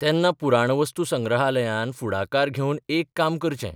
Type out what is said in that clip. तेन्ना पुराणवस्तुसंग्रहालयान फुडाकार घेवन एक काम करचें.